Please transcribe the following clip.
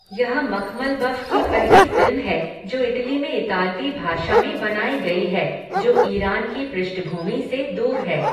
यह मखमलबफ़ की पहली फ़िल्म है जो इटली में इतालवी भाषा में बनाई गई है जो ईरान की पृष्ठभूमि से दूर है।